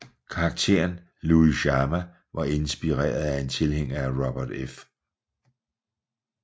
Karakteren Luis Chama var inspireret af en tilhænger af Robert F